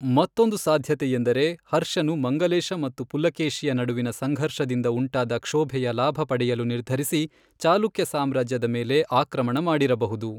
ಮತ್ತೊಂದು ಸಾಧ್ಯತೆಯೆಂದರೆ, ಹರ್ಷನು ಮಂಗಲೇಶ ಮತ್ತು ಪುಲಕೇಶಿಯ ನಡುವಿನ ಸಂಘರ್ಷದಿಂದ ಉಂಟಾದ ಕ್ಷೋಭೆಯ ಲಾಭ ಪಡೆಯಲು ನಿರ್ಧರಿಸಿ ಚಾಲುಕ್ಯ ಸಾಮ್ರಾಜ್ಯದ ಮೇಲೆ ಆಕ್ರಮಣ ಮಾಡಿರಬಹುದು.